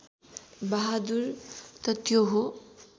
बहादुर त त्यो हो